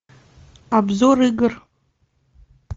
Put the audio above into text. обзор игр